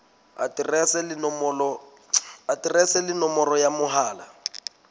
aterese le nomoro ya mohala